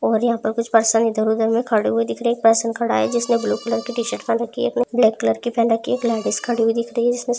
और यहां पर कुछ पर्सन इधर-उधर मे खड़े हुए दिख रहे हैं एक पर्सन खड़ा है जिसने ब्लू कलर की टी-शर्ट पहन रखी है। एक ने ब्लैक कलर की पहन रखी है एक लेडिस खड़ी हुई दिख रही है जिसने ----